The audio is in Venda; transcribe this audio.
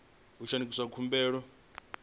u shandukisa khumbelo yo no